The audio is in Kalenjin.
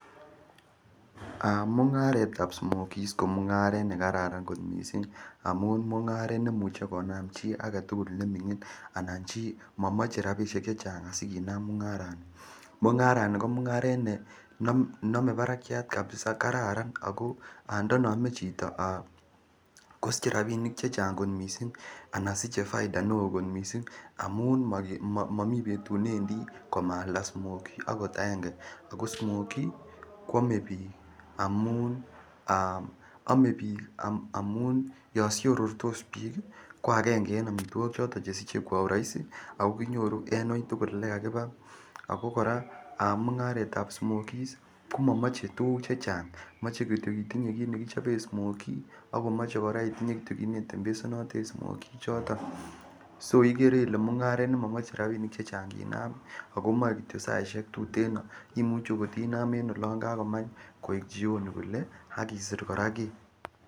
Mung'aretab smokie ko mung'aret nekararan kot missing amuun mung'aret nemuche konaam chi agetugul anan momache rabisiek chechang sikinaam mung'aran nito . Mung'arani ko mung'aret nenome barakiat kabisa kararan ako ndoiname chito kosiche robinik Chechang missing anan siche faida neoo missing amuun momiten ne wendii komaalda smokie akot aenge Ako smokie kiame bik amuun ah kiame bik amuun Yoon siorotos bik ko choto chesiche kwa uraisi ako kinyoru en uitugul yekakibe ako smokie komomache tuguk chechang moche kityo kit nekichoben smokie akomoche kora kinetembesanoti choton so ikere Ile mung'aret nemomoche tuguk chechang kinam ako moe kityo saisiek tuten imuche Inaam olon kakomach koek chioni kole.